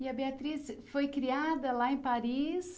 E a Beatriz foi criada lá em Paris?